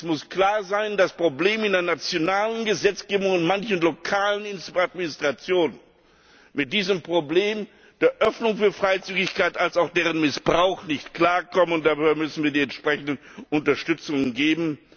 Es muss klar sein, dass Probleme in der nationalen Gesetzgebung bestehen und manche lokalen Administrationen mit diesem Problem der Öffnung für Freizügigkeit als auch deren Missbrauch nicht klarkommen, und daher müssen wir die entsprechenden Unterstützungen geben.